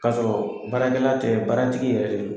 K'a sɔrɔ baarakɛla tɛ baaratigi yɛrɛ de don.